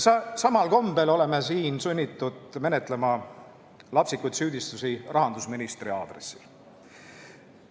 Samal kombel oleme siin sunnitud menetlema lapsikuid süüdistusi rahandusministri suunal.